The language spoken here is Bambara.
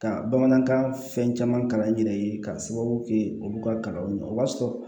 Ka bamanankan fɛn caman kalan n yɛrɛ ye k'a sababu kɛ olu ka kalanw ye o b'a sɔrɔ